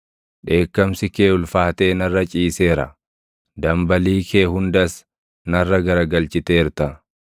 Dheekkamsi kee ulfaatee narra ciiseera; dambalii kee hundas narra garagalchiteerta.